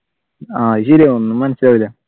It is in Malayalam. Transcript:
ആഹ് അത് ശരിയാ ഒന്നും മനസിലാവൂല